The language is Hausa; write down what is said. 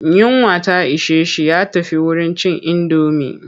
Yunwa ta ishe shi ya tafi wurin cin indomi.